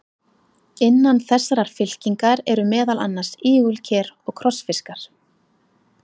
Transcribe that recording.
Innan þessarar fylkingar eru meðal annars ígulker og krossfiskar.